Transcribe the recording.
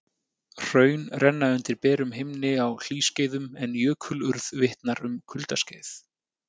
hraun renna undir berum himni á hlýskeiðum en jökulurð vitnar um kuldaskeið